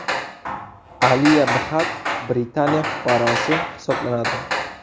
Aliya Bxatt Britaniya fuqarosi hisoblanadi.